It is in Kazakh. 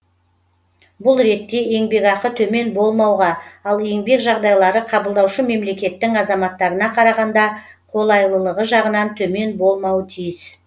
бұл ретте еңбекақы төмен болмауға ал еңбек жағдайлары қабылдаушы мемлекеттің азаматтарына қарағанда қолайлылығы жағынан төмен болмауы тиіс